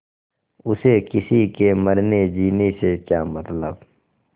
उसे किसी के मरनेजीने से क्या मतलब